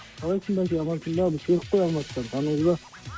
қалайсың бәке амансыңба бұл серік қой алматыдан таныдың ба